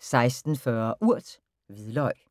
16:40: Urt: Hvidløg